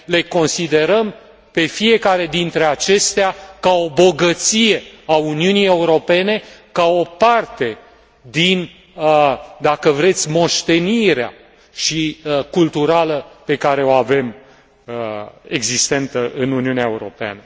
Le considerăm pe fiecare dintre acestea ca o bogăție a Uniunii Europene, ca o parte din, dacă vreți, moștenirea culturală pe care o avem, existentă în Uniunea Europeană.